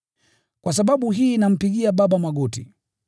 Kwa sababu hii nampigia Baba magoti,